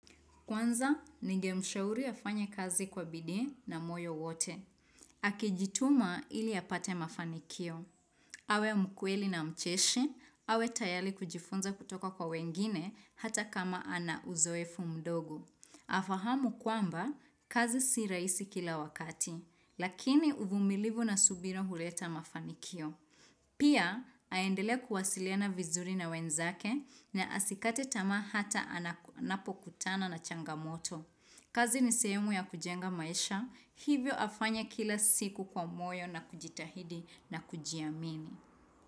Kwanza, ningemshauri afanye kazi kwa bidii na moyo wote. Akjituma ili apate mafanikio. Awe mkweli na mcheshi, awe tayari kujifunza kutoka kwa wengine hata kama ana uzoefu mdogu. Afahamu kwamba, kazi si raisi kila wakati, lakini uvumilivu na subira huleta mafanikio. Pia, endelee kuwasilina vizuri na wenzake na asikate tama hata anapo kutana na changamoto. Kazi ni sehumu ya kujenga maisha, hivyo afanye kila siku kwa moyo na kujitahidi na kujiamini.